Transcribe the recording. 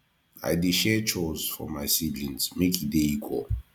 i dey share chores for my siblings make e dey equal